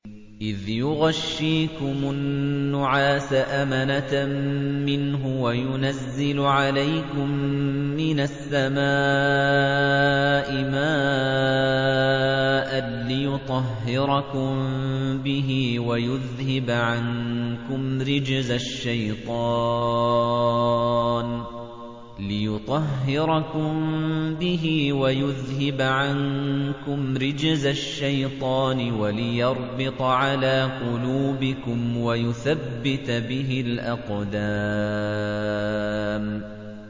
إِذْ يُغَشِّيكُمُ النُّعَاسَ أَمَنَةً مِّنْهُ وَيُنَزِّلُ عَلَيْكُم مِّنَ السَّمَاءِ مَاءً لِّيُطَهِّرَكُم بِهِ وَيُذْهِبَ عَنكُمْ رِجْزَ الشَّيْطَانِ وَلِيَرْبِطَ عَلَىٰ قُلُوبِكُمْ وَيُثَبِّتَ بِهِ الْأَقْدَامَ